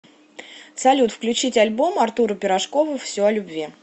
салют включить альбом артура пирожкова все о любви